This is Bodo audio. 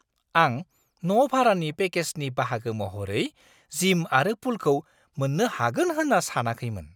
आं न' भारानि पेकेजनि बाहागो महरै जिम आरो पुलखौ मोन्नो हागोन होन्ना सानाखैमोन!